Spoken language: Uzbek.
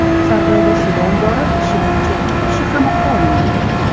Sardoba suv ombori ishi bo‘yicha ikki kishi qamoqqa olindi .